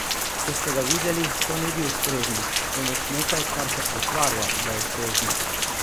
Če ste ga videli, to ni bil strežnik, temveč nekaj, kar se pretvarja, da je strežnik.